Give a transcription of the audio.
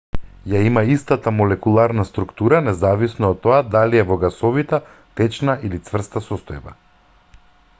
ја има истата молекуларна структура независно од тоа дали е во гасовита течна или цврста состојба